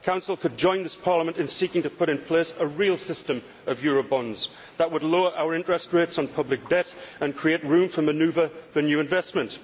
The Council could join this Parliament in seeking to put in place a real system of Eurobonds that would lower our interest rates on public debt and create room for manoeuvre for new investment.